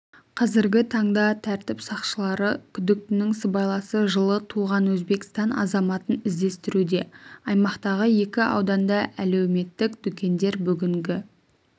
қазіргі таңда тәртіп сақшылары күдіктінің сыбайласы жылы туған өзбекстан азаматын іздестіруде аймақтағы екі ауданда әлеуметтік дүкендер бүгінгі